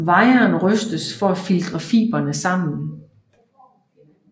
Viren rystes for at filtre fibrene sammen